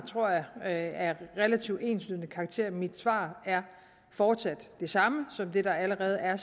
tror jeg af relativt enslydende karakter og mit svar er fortsat det samme som det der allerede er